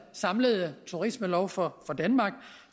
samlede turismelov for danmark